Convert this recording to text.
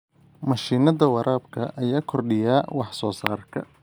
Mashiinnada waraabka ayaa kordhiya wax soo saarka.